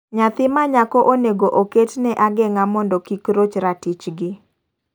Nyathi manyako onego oket ne agen'ga mondo kik roch ratich gi.